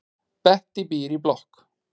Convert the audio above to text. Bettý býr í blokk.